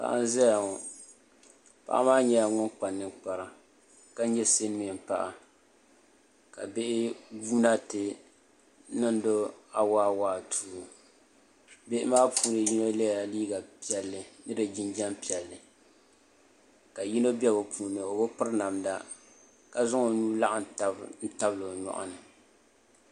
Paɣa n ʒɛya ŋɔ paɣa maa nyɛla ŋun kpa ninkpara ka nyɛ silmiin paɣa ka bihi guuna ti niŋdo awaawaatuu bihi maa puuni yino yɛla liiga piɛlli ni di jinjɛm piɛlli kq bia yino bɛ bi puuni o bi piri namda ka zaŋ o nuhi laɣam tabi n tabili nimaani